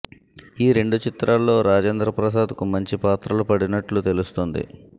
ఈ రెండు చిత్రాల్లో రాజేంద్ర ప్రసాద్ కు మంచి పాత్రలు పడినట్లు తెలుస్తోంది